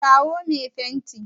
kirawo me fenti!